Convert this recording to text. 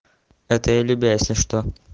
это я любя если что